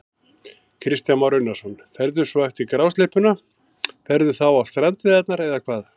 Kristján Már Unnarsson: Ferðu svo eftir grásleppuna, ferðu þá á strandveiðarnar eða hvað?